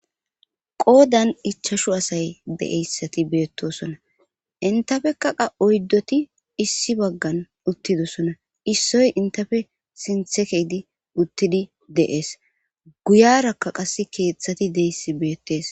Qoodan ichashu asay deeyssati beettosona intafekaqa oyddoti issi baggan uttidosona issoy intafe sinthe keydi uttidi deees guyarakka qass keeththati deyssi beettees